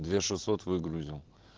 две шесот выгрузил